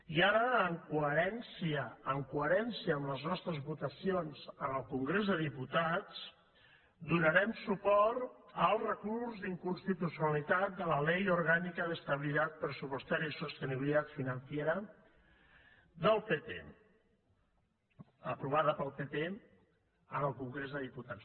i ara en coherència amb les nostres votacions al congrés dels diputats donarem suport al recurs d’inconstitucionalitat contra la ley orgánica de estabilidad presupuestaria y sostenibilidad financiera del pp aprovada pel pp al congrés dels diputats